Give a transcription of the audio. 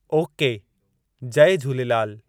Okay, जय झूलेलाल!